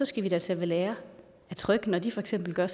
skal vi da tage ved lære af tryg når de for eksempel gør